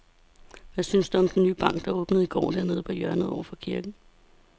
Hvad synes du om den nye bank, der åbnede i går dernede på hjørnet over for kirken?